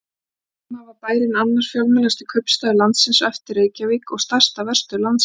Um tíma var bærinn annar fjölmennasti kaupstaður landsins á eftir Reykjavík og stærsta verstöð landsins.